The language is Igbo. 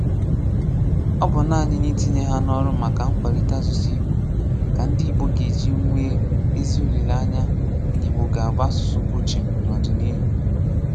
Ọ bụ́ nàanị n’itinye hà n’ọ̀rụ̀ maka nkwàlite asụ̀sụ́ Ìgbò ka ndị Ìgbò ga-eji nwee ezi olileanya na Ìgbò ga-abụ asụ̀sụ́ kwụ̀chìm n’ọ̀dị̀nìíhù.